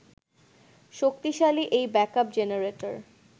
শক্তিশালী এই backup generator